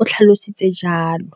o tlhalositse jalo.